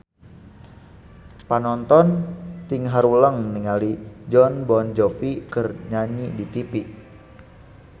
Panonton ting haruleng ningali Jon Bon Jovi keur nyanyi di tipi